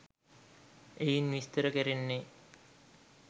එයින් විස්තර කැරෙන්නේ